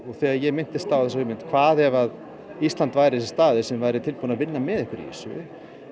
þegar ég minntist á þessa hugmynd hvað ef Ísland væri þessi staður sem væri tilbúið að vinna með ykkur í þessu